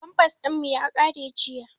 Famfas ɗin mu ya ƙare jiya